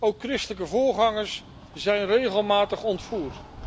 Ook christelijke voorgangers zijn regelmatig ontvoerd.